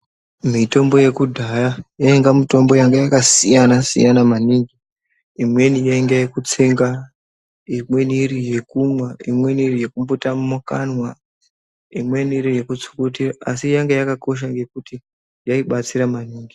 Mutombo yekudhaya yaiva mutombo yakasiyana siyana maningi imweni yainga yekutsenga imweni iri yekumwa imweni iri yekumvota mukanwa imweni iri yekutsukutia asi yanga yakakosha yaibatsira maningi .